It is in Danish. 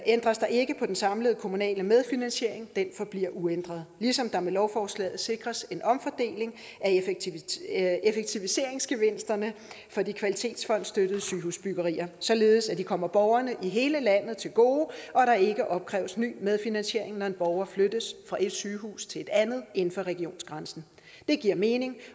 ændres der ikke på den samlede kommunale medfinansiering den forbliver uændret ligesom der med lovforslaget sikres en omfordeling af effektiviseringsgevinsterne for de kvalitetsfondsstøttede sygehusbyggerier således at det kommer borgerne i hele landet til gode og der ikke opkræves ny medfinansiering når en borger flyttes fra et sygehus til et andet inden for regionsgrænsen det giver mening